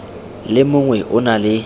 le mongwe o na le